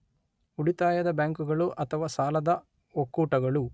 ಉಳಿತಾಯದ ಬ್ಯಾಂಕುಗಳು ಅಥವಾ ಸಾಲದ ಒಕ್ಕೂಟಗಳು